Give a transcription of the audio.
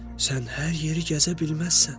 Sən hər yeri gəzə bilməzsən.